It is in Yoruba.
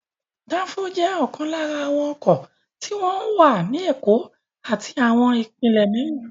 Dáńfó ni ọ̀kan lára àwọn ọkọ̀ tí wọ́n ń wà ní Èkó àti àwọn ìpínlẹ̀ mìíràn.